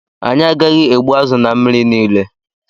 Anyị agaghị egbu azụ na mmiri niile.